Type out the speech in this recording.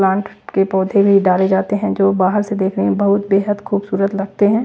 Plant के पौधे भी डाले जाते हैं जो बाहर से देखने में बहुत बेहद खूबसूरत लगते हैं।